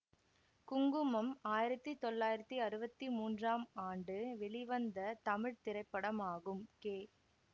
குங்குமம் ஆயிரத்தி தொள்ளாயிரத்தி அறுவத்தி மூன்றாம் ஆண்டு வெளிவந்த தமிழ் திரைப்படமாகும் கே